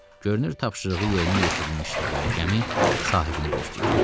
Görünür tapşırığı yerinə yetirilmişdi və gəmi sahibini gözləyirdi.